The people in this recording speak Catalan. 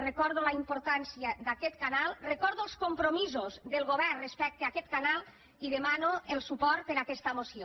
recordo la importància d’aquest canal recordo els compromisos del govern respecte a aquest canal i demano el suport per a aquesta moció